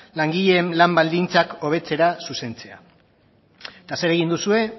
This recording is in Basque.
langileen lan baldintzak hobetzera zuzentzea eta zer egin duzue